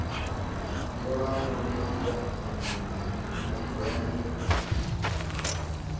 ṱalana hu ṱoḓea mangwende o